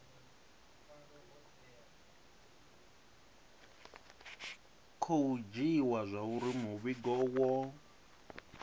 khou dzhiiwa zwauri muvhigo wo